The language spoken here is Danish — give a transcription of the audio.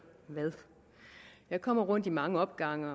hvad jeg kommer rundt i mange opgange